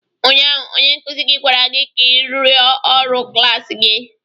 Ụnyaahụ onye nkụzi gị gwara gị ka ị rụọ ọrụ klas gị!